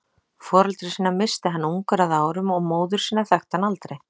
Foreldra sína missti hann ungur að árum og móður sína þekkti hann aldrei.